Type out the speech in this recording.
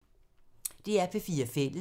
DR P4 Fælles